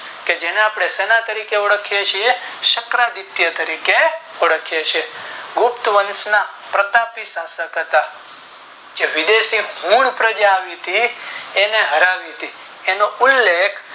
કે જેને આપણે સેનાએ તરીકે ઓળખીયે છીએ શકરા આદિત્ય તરીકે ઓળખીયે છીએ ગુપ્ત વંશ ના પ્રતાપી શાસક હતા જે વિદેશથી ફોને ઉપરઆવી થી એને હરાવી હતી એ નો ઉલ્લેખ